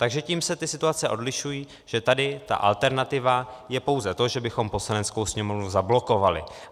Takže tím se ty situace odlišují, že tady ta alternativa je pouze to, že bychom Poslaneckou sněmovnu zablokovali.